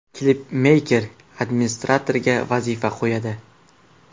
Klipmeyker administratoriga vazifa qo‘yadi.